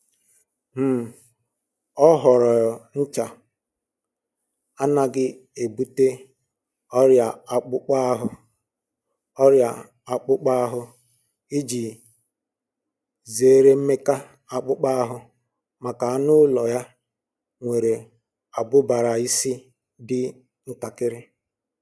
um Ọ họọrọ ncha anaghị ebute ọrịa akpụkpọ ọrịa akpụkpọ ahụ iji zere mmeka akpụkpọ ahụ maka anụ ụlọ ya nwere abụbara isi dị ntakiri